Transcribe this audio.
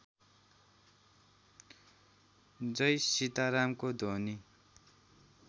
जय सीतारामको ध्वनि